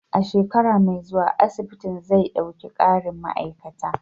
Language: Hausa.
A shekara mai zuwa, asibitin zai ɗauki ƙarin ma'aikata.